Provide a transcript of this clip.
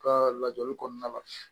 Ka lajɛli kɔnɔna la